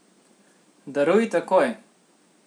Daruj takoj.